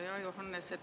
Hea Johannes!